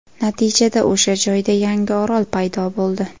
Natijada o‘sha joyda yangi orol paydo bo‘ldi.